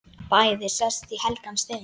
Bæði sest í helgan stein.